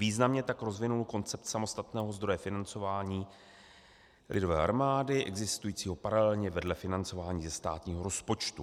Významně tak rozvinul koncept samostatného zdroje financování lidové armády existujícího paralelně vedle financování ze státního rozpočtu.